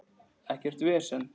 Ekkert vesen!